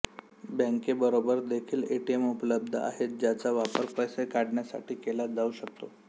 बँकेबरोबर देखील एटीएम उपलब्ध आहेत ज्याचा वापर पैसे काढण्यासाठी केला जाऊ शकतो